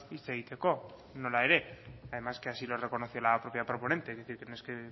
hitz egiteko nola ere además que así lo reconoce la propia proponente es decir que no es que